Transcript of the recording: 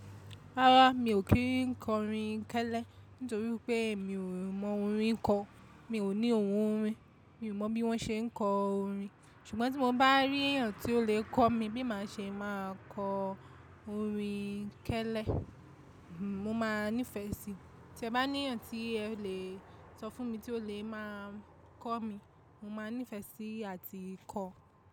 Rárá mi ò kí ń kọ orin kẹ́lẹ́ nítorí pé mi ò mọ orin kọ. Mi ò ní ohun orin. Mi ò mọ bí wọ́n ṣe ń kọ orin. Ṣùgbọ́n tí mo bá rí èèyàn tí ó lè kọ́ mi bí màá ṣe máa kọ orin kẹ́lẹ́, mo máa nífẹ̀ẹ́ sí i. Tí ẹ bá ní ẹ̀yàn tí ẹ lè sọ fún mi tí ó lè máa kọ́ mi, mo máa nífẹ̀ẹ́ sí i àti kọ.